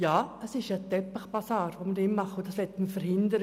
Ja, es ist ein Teppichbasar, und das möchten wir verhindern.